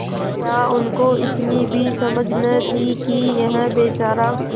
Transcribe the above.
क्या उनको इतनी भी समझ न थी कि यह बेचारा